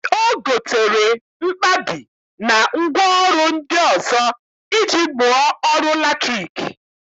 O gotere mkpabi na ngwaọrụ ndị ọzọ iji mụọ ọrụ latriki